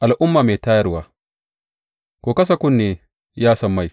Al’umma mai tayarwa Ku kasa kunne, ya sammai!